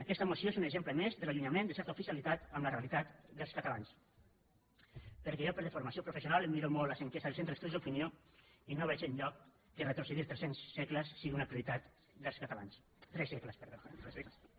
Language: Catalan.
aquesta moció és un exemple més de l’allunyament de certa oficialitat amb la realitat dels catalans perquè jo per deformació professional em miro molt les enquestes del centre d’estudis d’opinió i no veig enlloc que retrocedir tres cents segles sigui una prioritat dels catalans tres segles perdó